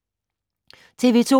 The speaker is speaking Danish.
TV 2